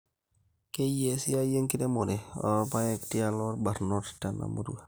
keyiaa esiaai enkiremore oorpaek tialo irbanot tena murrua